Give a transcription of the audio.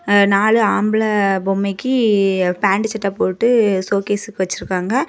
ஆ நாலு ஆம்பளே பொம்மைக்கீ பேண்ட் சட்டை போட்டு ஷோகேஸ்க்கு வச்சுருக்காங்க.